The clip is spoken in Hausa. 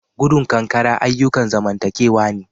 Gudun kan kankara ayukan zamantakewa ne